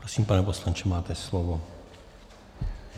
Prosím, pane poslanče, máte slovo.